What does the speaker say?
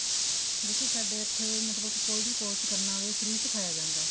ਦੇਖੋ ਸਾਡੇ ਇੱਥੇ ਮਤਲਬ ਕੋਈ ਵੀ course ਕਰਨਾ ਹੋਵੇ free ਸਿਖਾਇਆ ਜਾਂਦਾ